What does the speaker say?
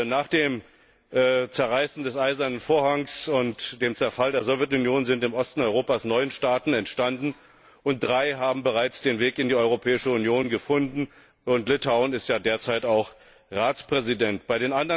Nach dem Zerreißen des Eisernen Vorhangs und dem Zerfall der Sowjetunion sind im Osten Europas neun Staaten entstanden, und drei haben bereits den Weg in die Europäische Union gefunden Litauen hat ja derzeit auch die Ratspräsidentschaft inne.